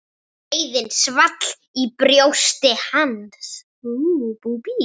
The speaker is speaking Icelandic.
LÁRUS: Þetta er rétt bókun.